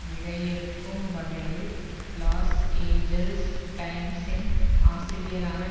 விடையிறுக்கும் வகையில் Los Angeles டைம்ஸின் ஆசிரியரான